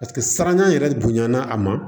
Paseke siranya yɛrɛ bonya na a ma